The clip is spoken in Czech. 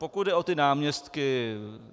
Pokud jde o ty náměstky.